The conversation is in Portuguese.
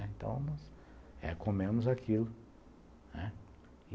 Então, nós comemos aquilo, né.